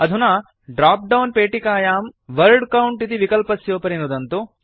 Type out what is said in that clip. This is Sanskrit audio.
अधुना ड्राप्डौन् पेटिकायां वर्ड काउंट इति विकल्पस्योपरि नुदन्तु